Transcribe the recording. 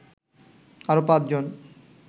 আরো পাঁচজন